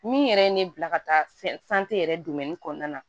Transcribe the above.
Min yɛrɛ ye ne bila ka taa fɛn yɛrɛ kɔnɔna na